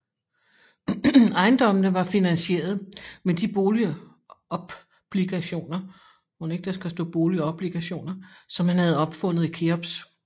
Ejendommene var finansieret med de boligopbligationer som han havde opfundet i Keops